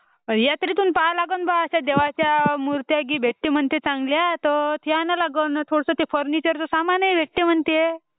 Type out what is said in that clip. यात्रेतून पहा लागण बा अश्या देवाचा मुर्त्या गी भेटते म्हणते चांगला ते आना लागण आणि थोडासा फुर्निचर चा सामान हि भेटते म्हणते.